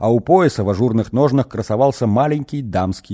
а у пояса в ажурных ножнах красовался маленький дамский